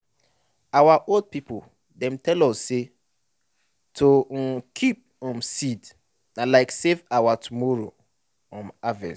our old people dem tell us say to um keep um seed na like to save your tomorrow um harvest.